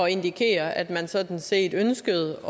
at indikere at man sådan set ønskede